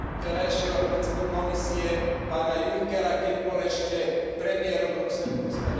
terajšieho predsedu Komisie pána Junckera, keď bol ešte premiérom Luxemburska.